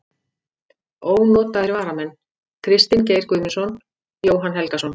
Ónotaðir varamenn: Kristinn Geir Guðmundsson, Jóhann Helgason.